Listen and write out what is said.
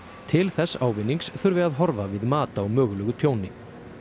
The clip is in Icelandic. til þess ávinnings þurfi að horfa við mat á mögulegu tjóni